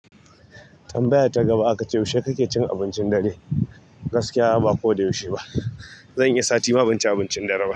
Tambaya ta gaba aka ce yaushe ka ke cin abincin dare? Gaskiya ba ko da yaushe ba zan iyi sati ma ban ci abincin dare ba.